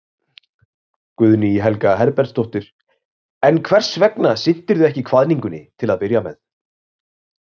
Guðný Helga Herbertsdóttir: En hvers vegna sinntirðu ekki kvaðningunni til að byrja með?